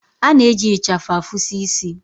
A na-eji ịchafụ afusi isi.